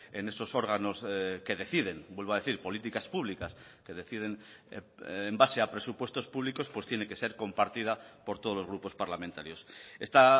en esos órganos que deciden vuelvo a decir políticas públicas que deciden en base a presupuestos públicos pues tiene que ser compartida por todos los grupos parlamentarios está